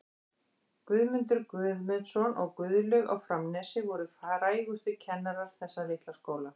Guðmundur Guðmundsson og Guðlaug á Framnesi voru frægustu kennarar þessa litla skóla.